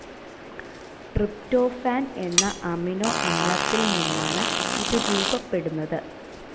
Tryptophan എന്ന അമിനോഅമ്ലത്തിൽ നിന്നാണ് ഇത് രൂപപ്പെടുന്നത്.